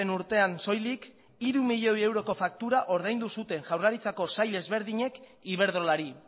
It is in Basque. urtean soilik hiru miloi euroko faktura ordaindu zuten jaurlaritzako sail ezberdinek iberdrolari